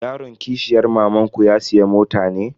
Yaron kishiyar mamanku ya siya mota ne?